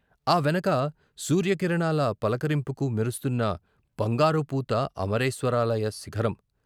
ఆ వెనక సూర్య కిరణాల పలకరింపుకు మెరుస్తున్న బంగారుపూత అమరేశ్వ రాలయ శిఖరం.